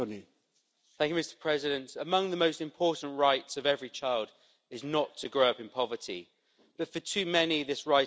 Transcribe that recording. Mr President, among the most important rights of every child is not to grow up in poverty, but for too many this right is denied.